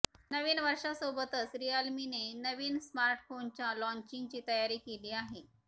नवीन वर्षासोबतच रिअलमीने नवीन स्मार्टफोनच्या लाँचिंगची तयारी केली आहे